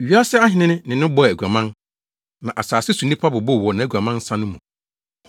Wiase ahene ne no bɔɔ aguaman, na asase so nnipa bobow wɔ nʼaguaman nsa no mu.”